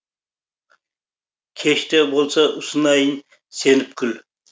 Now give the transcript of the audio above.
кеш те болса ұсынайын сеніп гүл